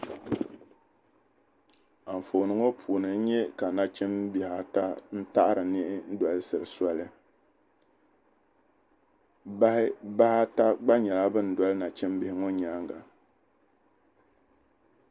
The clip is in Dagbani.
Anfooni ŋɔ puuni n nya ka nachimbihi ata n-taɣiri niɣi n-dolisiri soli. Bahi ata gba nyɛla ban doli nachimbihi ŋɔ nyaaŋga.